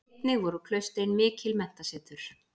Einnig voru klaustrin mikil menntasetur.